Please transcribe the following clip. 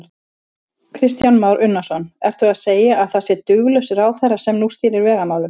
Kristján Már Unnarsson: Ertu að segja að það sé duglaus ráðherra sem nú stýrir vegamálunum?